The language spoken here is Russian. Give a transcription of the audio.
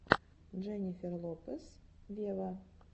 дженнифер лопес вево